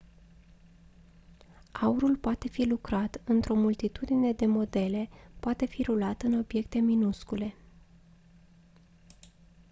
aurul poate fi lucrat într-o multitudine de modele poate fi rulat în obiecte minuscule